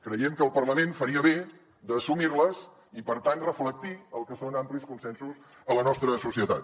creiem que el parlament faria bé d’assumir les i per tant reflectir el que són amplis consensos a la nostra societat